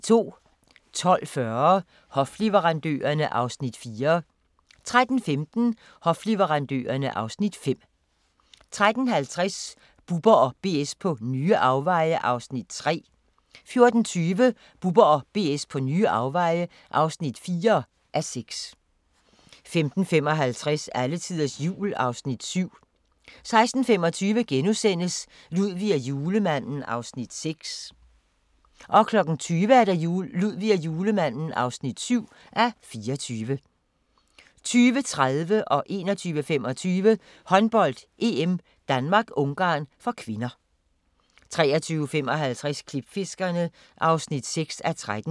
12:40: Hofleverandørerne (Afs. 4) 13:15: Hofleverandørerne (Afs. 5) 13:50: Bubber & BS på nye afveje (3:6) 14:20: Bubber & BS på nye afveje (4:6) 15:55: Alletiders Jul (Afs. 7) 16:25: Ludvig og Julemanden (6:24)* 20:00: Ludvig og Julemanden (7:24) 20:30: Håndbold: EM - Danmark-Ungarn (k) 21:25: Håndbold: EM - Danmark-Ungarn (k) 23:55: Klipfiskerne (6:13)